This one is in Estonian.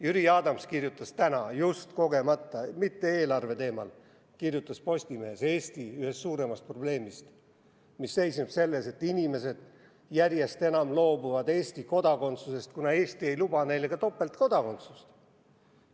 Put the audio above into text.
Jüri Adams kirjutas just kogemata täna – mitte eelarve teemal – Postimehes Eesti ühest suuremast probleemist, mis seisneb selles, et inimesed järjest enam loobuvad Eesti kodakondsusest, kuna Eesti ei luba neile ka topeltkodakondsust.